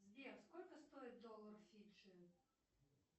сбер сколько стоит доллар фиджи